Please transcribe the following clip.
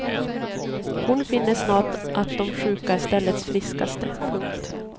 Hon finner snart att de sjuka är ställets friskaste. punkt